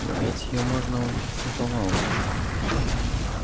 но ведь её можно убить наповал